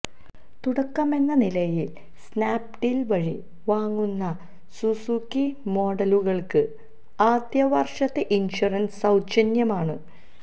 തുടക്കമെന്ന നിലയിൽ സ്നാപ്ഡീൽ വഴി വാങ്ങുന്ന സുസുക്കി മോഡലുകൾക്ക് ആദ്യ വർഷത്തെ ഇൻഷുറൻസ് സൌജന്യമാണ്